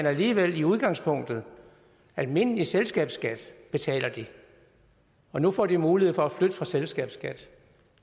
alligevel i udgangspunktet almindelig selskabsskat og nu får de mulighed for at flytte fra selskabsskat